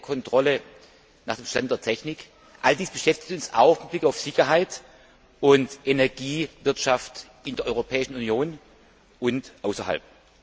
Kontrolle all dies beschäftigt uns auch mit Blick auf Sicherheit und Energiewirtschaft in der Europäischen Union und außerhalb.